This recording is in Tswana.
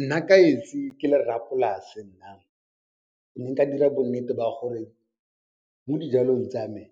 Nna ka esi ke le rra polase nna, ke ne nka dira bo nnete ba gore mo dijalong tsa me